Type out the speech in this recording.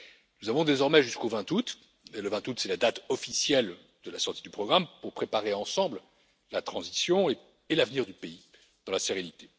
Nous avons désormais jusqu'au 20 août, et le 20 août est la date officielle de la sortie du programme, pour préparer ensemble la transition et l'avenir du pays dans la sérénité.